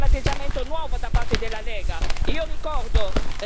Questo non è sicuramente un atteggiamento nuovo da parte della Lega.